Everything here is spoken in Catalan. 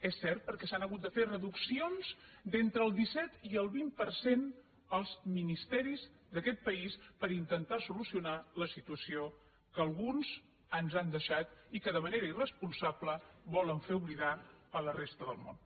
és cert perquè s’han hagut de fer reduccions d’entre el disset i el vint per cent als ministeris d’aquest país per intentar solucionar la situació que alguns ens han deixat i que de manera irresponsable volen fer oblidar a la resta del món